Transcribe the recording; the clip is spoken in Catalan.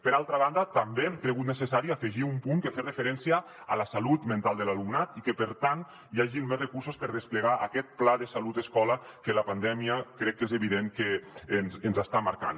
per altra banda també hem cregut necessari afegir un punt que fes referència a la salut mental de l’alumnat i que per tant hi hagin més recursos per desplegar aquest pla de salut escola que la pandèmia crec que és evident que ens està marcant